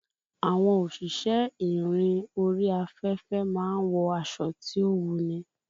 Àwọn òṣìṣẹ́ ìrìn orí afẹ́fẹ́ máa ń wọ aṣọ tí ó wuni